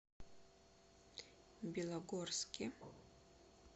белогорске